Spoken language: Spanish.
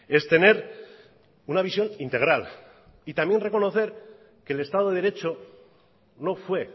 es tener una visión integral y también reconocer que el estado de derecho no fue